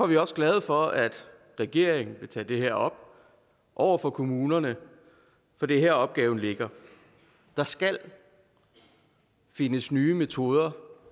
vi også glade for at regeringen vil tage det her op over for kommunerne for det er her opgaven ligger der skal findes nye metoder